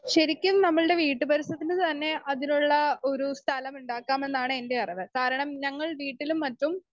speaker 2 ശരിക്കും നമ്മൾടെ വീട്ടുപരിസരത്തിനുതന്നെ അതിനുള്ള ഒരു സ്ഥലമുണ്ടാക്കാമെന്നാണ് എൻ്റെ അറിവ് കാരണം ഞങ്ങൾ വീട്ടിലും മറ്റും